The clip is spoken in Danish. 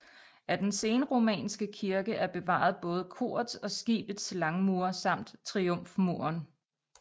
Af den senromanske kirke er bevaret både korets og skibets langmure samt triumfmuren